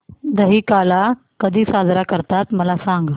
दहिकाला कधी साजरा करतात मला सांग